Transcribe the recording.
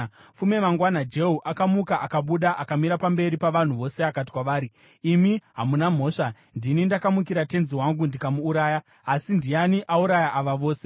Fume mangwana Jehu akamuka akabuda. Akamira pamberi pavanhu vose akati kwavari, “Imi hamuna mhosva. Ndini ndakamukira tenzi wangu ndikamuuraya, asi ndiani auraya ava vose?